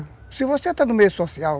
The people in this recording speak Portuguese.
Se você está no meio social,